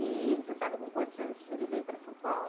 E você sabe com quantos anos ele veio para São Paulo?